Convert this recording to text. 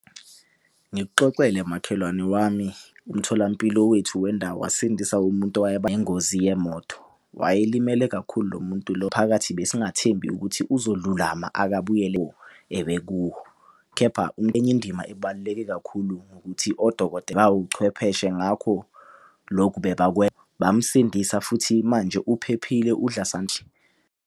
Ngikuxoxele makhelwane wami umtholampilo wethu wendawo wasindisa umuntu ngengozi yemoto. Wayelimele kakhulu lo muntu lo phakathi besingathembi ukuthi uzolulama akabuyele ebekuwo. Kepha enye indima ebaluleke kakhulu ngukuthi ngawuchwepheshe, ngakho lokhu , bamusindisa futhi manje uphephile udla .